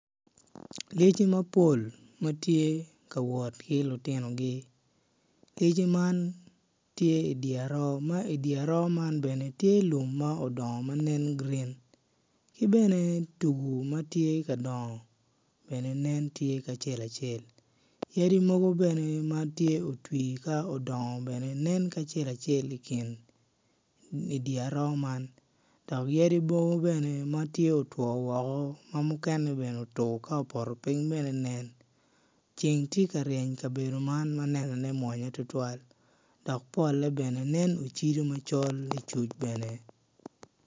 Lyeci mapol ma gitye ka wot ki lutinogi lyeci man tye i dye aroo, dye aroo man tye lum ma odong ma nen green ki bene tugu ma tye ka dongo bene nen tye ki acel acel yadi bene ma nen otwi ka odongo bene nen ki acel acel i kin dye aroo man dok yadi mukene ma otwo woko ma nen otur ka opoto piny bene nen ceng tye ka ryen i kabedo ma ma nenone mwonya tutwal dok pole nen ocido ma col ni cuc bene.